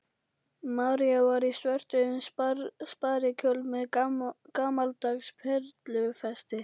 María var í svörtum sparikjól með gamaldags perlufesti.